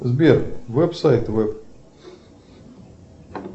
сбер веб сайт веб